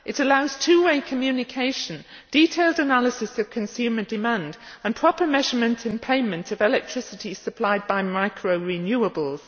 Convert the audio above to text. It allows two way communication, detailed analysis of consumer demand and proper measurement and payment of electricity supplied by micro renewables.